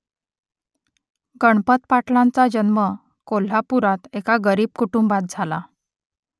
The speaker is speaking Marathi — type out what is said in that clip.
गणपत पाटलांचा जन्म कोल्हापुरात एका गरीब कुटुंबात झाला